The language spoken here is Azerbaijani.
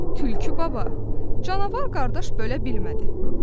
Tülkü baba, canavar qardaş bölə bilmədi, sən böl!